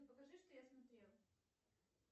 покажи что я смотрела